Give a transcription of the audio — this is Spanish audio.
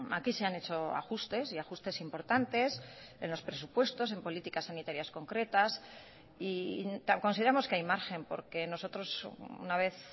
aquí se han hecho ajustes y ajustes importantes en los presupuestos en políticas sanitarias concretas y consideramos que hay margen porque nosotros una vez